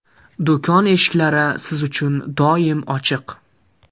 Do‘kon eshiklari siz uchun doim ochiq!